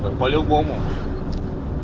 по-любому